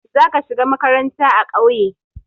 Za ka shiga makaranta a ƙauye.